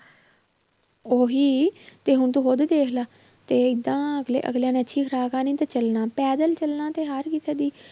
ਉਹੀ ਤੇ ਹੁਣ ਤੂੰ ਉਹਦੇ ਦੇਖ ਲਾ ਤੇ ਏਦਾਂ ਅਗਲੇ ਅਗਲਿਆਂ ਨੇ ਅੱਛੀ ਖ਼ੁਰਾਕ ਖਾਣੀ ਤੇ ਚੱਲਣਾ ਪੈਦਲ ਚੱਲਣਾ ਤੇ ਹਰ ਕਿਸੇ ਦੀ